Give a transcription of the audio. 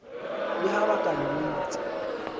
le ha ba ka mmitsa